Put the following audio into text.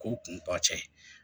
K'o kun tɔ cɛ